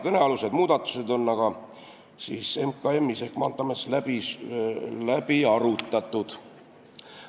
Kõnealused muudatused on aga Majandus- ja Kommunikatsiooniministeeriumis, õigemini Maanteeametis läbi arutatud.